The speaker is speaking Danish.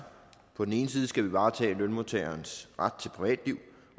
på den ene side skal vi varetage lønmodtagerens ret til privatliv